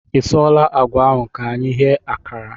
I suola àgwà ahụ ka anyị ghee ákàrà?